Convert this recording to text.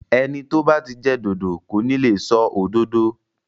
Ẹnu tó bá ti jẹ dòdò kò ní le sọ òdodo.